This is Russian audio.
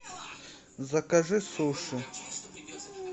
закажи суши